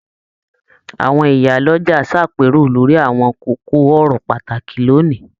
Àwọn ìyálọja s'àpérò lórí àwọn kókó ọ̀rọ̀ pàtàkì l'óni.